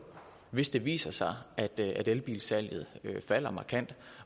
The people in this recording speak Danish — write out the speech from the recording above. hvis det viser sig at elbilsalget falder markant